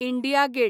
India get